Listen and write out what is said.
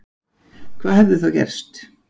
Hvað hefði gerst þá